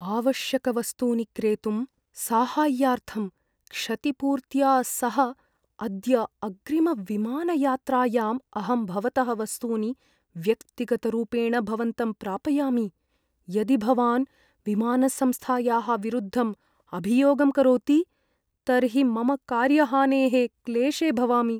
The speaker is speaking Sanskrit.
आवश्यकवस्तूनि क्रेतुं साहाय्यार्थं क्षतिपूर्त्या सह अद्य अग्रिमविमानयात्रायाम् अहं भवतः वस्तूनि व्यक्तिगतरूपेण भवन्तं प्रापयामि, यदि भवान् विमानसंस्थायाः विरुद्धम् अभियोगं करोति, तर्हि मम कार्यहानेः क्लेशे भवामि।